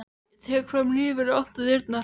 Ég tek fram hnífinn og opna dyrnar.